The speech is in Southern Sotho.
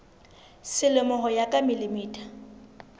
selemo ho ya ka mm